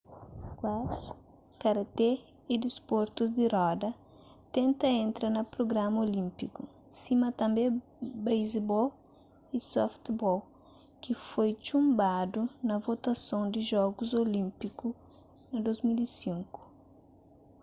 squash karaté y disportus di roda tenta entra na prugrama olínpiku sima tanbê basebol y softball ki foi txunbadu na votason di jogus olínpiku na 2005